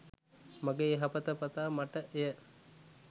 මගේ යහපත පතා මට එය